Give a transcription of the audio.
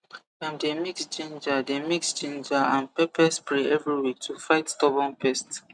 dem dey mix ginger dey mix ginger and pepper spray every week to fight stubborn pest